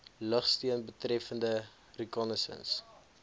lugsteun betreffende reconnaissance